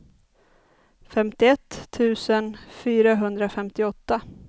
femtioett tusen fyrahundrafemtioåtta